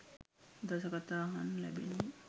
දස කථා අහන්න ලැබෙන්නේ.